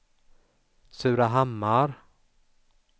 Surahammar